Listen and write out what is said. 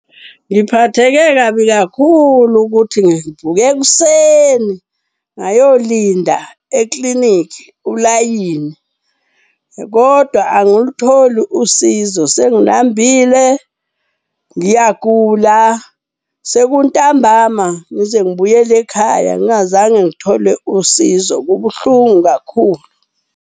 Ngiphatheke kabi kakhulu ukuthi ngivuke ekuseni ngayolinda eklinikhi ulayini kodwa angulutholi usizo. Sengilambile, ngiyagula, sekuntambama, ngize ngibuyele ekhaya ngingazange ngithole usizo. Kubuhlungu kakhulu.